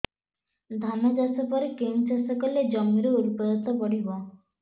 ଧାନ ଚାଷ ପରେ କେଉଁ ଚାଷ କଲେ ଜମିର ଉର୍ବରତା ବଢିବ